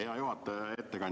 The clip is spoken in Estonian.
Hea juhataja!